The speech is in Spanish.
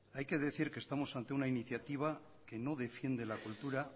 hay que decir que estamos ante una iniciativa que no defiende la cultura